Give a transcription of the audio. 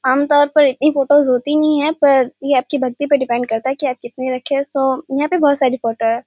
आमतौर पर इतनी फोटोस होती नहीं है पर ये आपकी भक्ति पर डिपेंड करता है की आप कितने रखे हैं सो यहाँ पर बहोत सारी फोटो है।